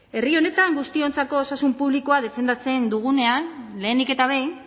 herri honetan guztiontzako osasun publikoa defendatzen dugunean lehenik eta behin